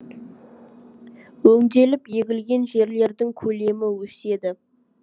өңделіп егілген жерлердің көлемі өседі